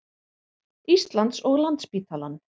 Íslands og Landspítalann.